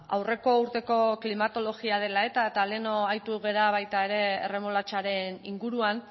aurreko urteko klimatologia dela eta eta lehen aritu gara baita ere erremolatxaren inguruan